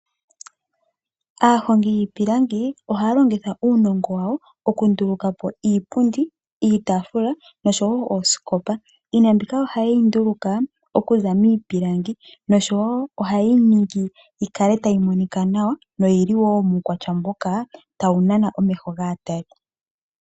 Aahongi yiipilangi oha longitha uunongo wawo oku ndulukapo iipundi, iitafula noshowo oosikopa. Iinima mbika ohaye yi nduluka okuza miipilangi noshowo ohayeyi ningi yi kale tayi monika nawa noyili wo muukwatya moka tayi nana omeho gaatali.